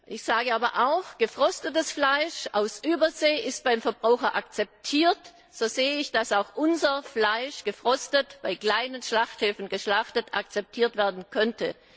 Ich sage aber auch, gefrostetes Fleisch aus Übersee ist beim Verbraucher akzeptiert, und so sehe ich, dass auch unser Fleisch gefrostet bei kleinen Schlachthöfen geschlachtet akzeptiert werden könnte.